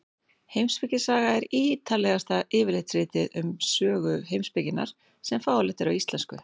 Heimspekisaga er ítarlegasta yfirlitsritið um sögu heimspekinnar sem fáanlegt er á íslensku.